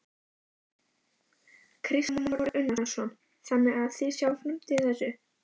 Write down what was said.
Kristján Már Unnarsson: Þannig að þið sjáið framtíð í þessu?